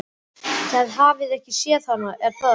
Þið hafið ekki séð hana, er það?